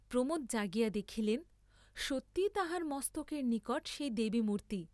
প্রমোদ জাগিয়া দেখিলেন, সত্যই তাঁহার মস্তকের নিকট সেই দেবীমূর্ত্তি।